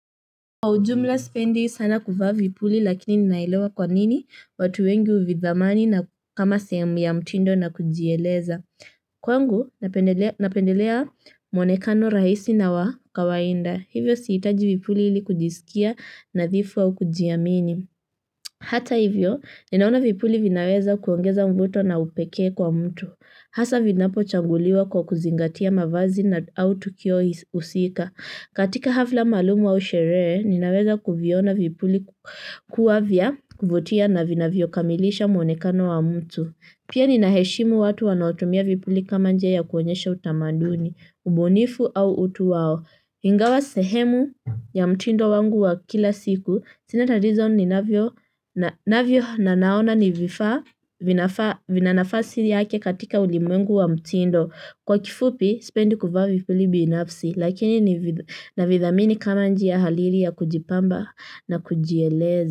Kwa ujumla sipendi sana kuvaa vipuli lakini ninaelewa kwa nini watu wengi huvidhamani na kama sehemu ya mtindo na kujieleza. Kwangu, napendelea mwonekano rahisi na wa kawaida hivyo sihitaji vipuli ili kujisikia nadhifu au kujiamini hata hivyo, ninaona vipuli vinaweza kuongeza mvuto na upekee kwa mtu. Hasa vinapochaguliwa kwa kuzingatia mavazi na au tukio husika. Katika hafla maalumu au sherehe, ninaweza kuviona vipuli kuwa vya kuvutia na vinavyokamilisha mwonekano wa mtu. Pia ninaheshimu watu wanaotumia vipuli kama njia ya kuonyesha utamaduni, ubunifu au utu wao ingawa sehemu ya mtindo wangu wa kila siku, sina tatizo ninavyo na naona ni vina nafasi yake katika ulimwengu wa mtindo. Kwa kifupi, sipendi kuva vipuli binafsi, lakini navidhamini kama njia hariri ya kujipamba na kujieleza.